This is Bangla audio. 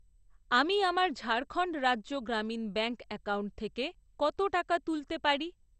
আমি আমার ঝাড়খণ্ড রাজ্য গ্রামীণ ব্যাঙ্ক অ্যাকাউন্ট থেকে কত টাকা তুলতে পারি?